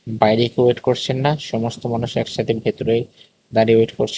বাইরে কেউ ওয়েট করছেন না সমস্ত মানুষ একসাথে ভেতরেই দাঁড়িয়ে ওয়েট করছে।